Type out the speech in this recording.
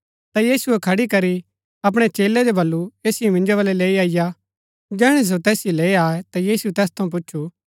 ता यीशुऐ खड़ी करी अपणै चेलै जो वलु ऐसिओ मिन्जो वलै लैई अईआ जैहणै सो तैसिओ लैई आये ता यीशुऐ तैस थऊँ पुछु